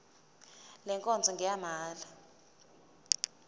le nkonzo ngeyamahala